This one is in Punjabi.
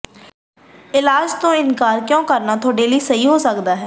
ਇਲਾਜ ਤੋਂ ਇਨਕਾਰ ਕਿਉਂ ਕਰਨਾ ਤੁਹਾਡੇ ਲਈ ਸਹੀ ਹੋ ਸਕਦਾ ਹੈ